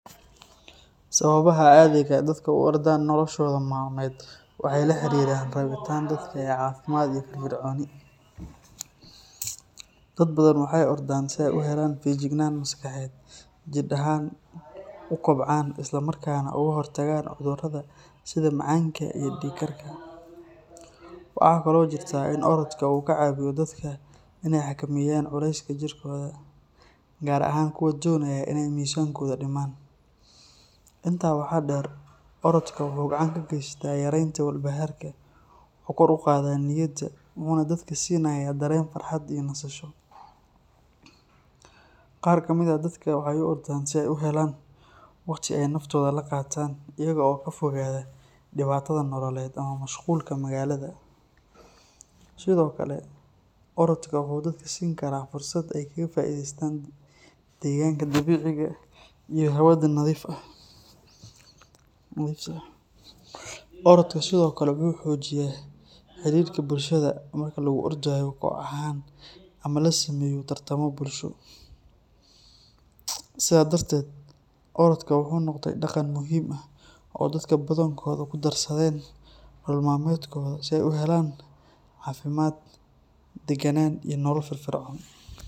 Sawabaha cadiga dadka uordan nokoshoda malmed waxay lahariran rabitan dadka ay cafimad iyo firfirconi, dad badan waxay ordan si ay uhelan fayajignan maskaxded jir ahan ukobcan islamrkana ugahortagan cudurada sida macanka iyo diig karka, waxa kalo jirta in orodka uu kacaeiyo dadka inay hakameyan culeska jirkoda gaar ahan kuwa donayo inay misankoda dimaan, inta wa deer orodka wuxu gacan kageysta yarenta walbaharka, wuxu kor ugada niyada, wuxuna dadka sinaya daren farhat iyo nasasho, gaar kamid ah dadka waxay uordan si ay uhelan wagti ay naftoda ulagaatan iyago kafogada dibatada nololed ama mashqulka magalada, Sidhokale orodja wuxu dadka siin kara fursad ay kagaqulestaan deganka dabiciga iyo hawada nadiifka, oradka Sidhokale wuxu mujiyaa hirirka bulshada marki alguordayo kooh aha ma lasameyo tartamo bulsho, sida darted orodka wuxu nogde dagan muxiim ah oo dadka badankida kudarsaden nolol malmedkoda si ay u helan cafimad daganan iyo nolol firfirco.